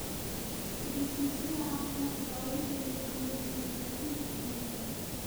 Ogaysiisyada caafimaadka oo la geliyo kalluunka waxay ka hortagi kartaa cudur.